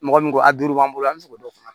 Mɔgɔ min ko a duuru b'an bolo an bi se k'o dɔn